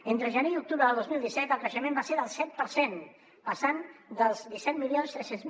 entre gener i octubre del dos mil disset el creixement va ser del set per cent passant dels disset mil tres cents